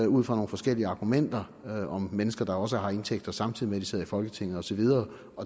ud fra nogle forskellige argumenter om mennesker der også har indtægter samtidig med at de sidder i folketinget og så videre